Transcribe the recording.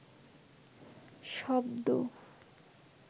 শব্দ